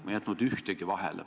Ma ei jätnud ühtegi vahele.